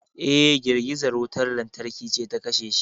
Eh girgizar wutar lantarki ce ta kashe shi